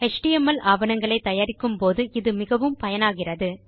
HTML ஆவணங்களை தயாரிக்கும் போது இது மிகவும் பயனாகிறது